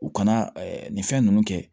U kana nin fɛn ninnu kɛ